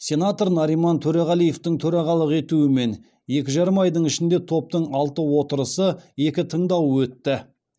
сенатор нариман төреғалиевтің төрағалық етуімен екі жарым айдың ішінде топтың алты отырысы екі тыңдауы өтті